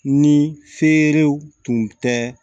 Ni feerew tun tɛ